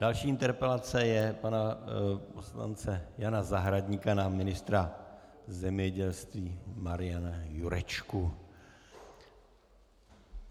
Další interpelace je pana poslance Jana Zahradníka na ministra zemědělství Mariana Jurečku.